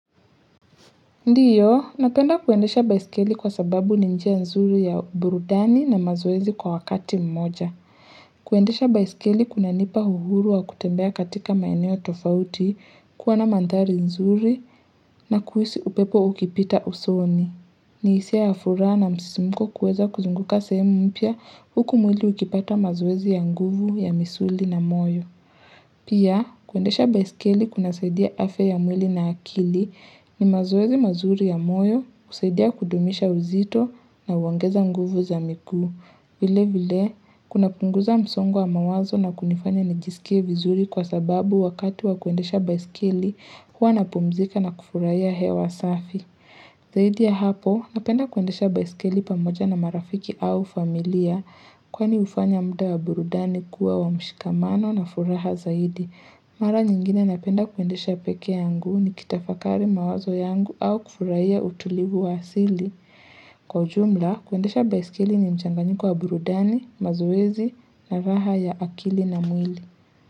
Ndio, napenda kuendesha baisikeli kwa sababu ni njia nzuri ya burudani na mazoezi kwa wakati mmoja. Kuendesha baisikeli kuna nipa uhuru wa kutembea katika maeneo tofauti kuwa na mandhari nzuri na kuhisi upepo ukipita usoni. Ni hisia ya furaha na msisimuko kuweza kuzunguka sehemu mpya huku mwili ikipata mazoezi ya nguvu ya misuli na moyo. Pia, kuendesha baisikeli kuna saidia afya ya mwili na akili ni mazoezi mazuri ya moyo, kusaidia kudumisha uzito na huongeza nguvu za miguu. Vile vile, kuna punguza msongo wa mawazo na kunifanya nijisikie vizuri kwa sababu wakati wa kuendesha baisikeli huwa napumzika na kufurahia hewa safi. Zaidi ya hapo, napenda kuendesha baisikili pamoja na marafiki au familia kwani hufanya mudaa wa burudani kuwa wa mshikamano na furaha zaidi. Mara nyingine napenda kuendesha pekee yangu nikitafakari mawazo yangu au kufurahia utulivu wa asili. Kwa jumla, kuendesha baisikili ni mchanganyiko wa burudani, mazoezi na raha ya akili na mwili.